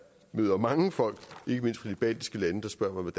møder mange folk ikke mindst fra de baltiske lande der spørger mig